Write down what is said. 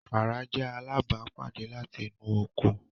Wara jẹ alabapade lati inu oko.